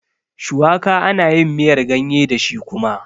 Shuwaka ana yin miyar ganye dashi kuma